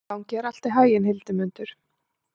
Gangi þér allt í haginn, Hildimundur.